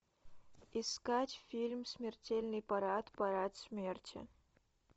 искать фильм смертельный парад парад смерти